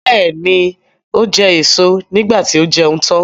Bẹ́ẹ̀ni, ó jẹ èso niígbà tí ó jẹun tán.